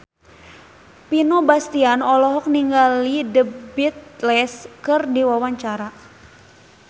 Vino Bastian olohok ningali The Beatles keur diwawancara